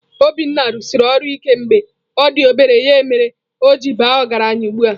Obinna rụsiri ọrụ ike mgbe ọ dị obere, ya mere o ji baa ọgaranya ugbu a.